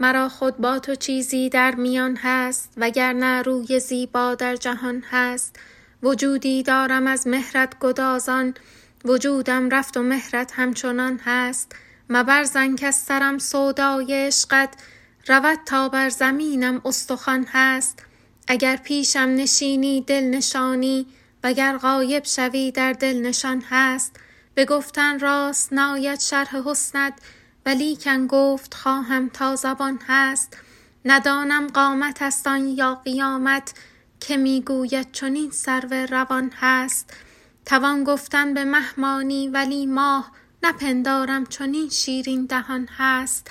مرا خود با تو چیزی در میان هست و گر نه روی زیبا در جهان هست وجودی دارم از مهرت گدازان وجودم رفت و مهرت همچنان هست مبر ظن کز سرم سودای عشقت رود تا بر زمینم استخوان هست اگر پیشم نشینی دل نشانی و گر غایب شوی در دل نشان هست به گفتن راست ناید شرح حسنت ولیکن گفت خواهم تا زبان هست ندانم قامتست آن یا قیامت که می گوید چنین سرو روان هست توان گفتن به مه مانی ولی ماه نپندارم چنین شیرین دهان هست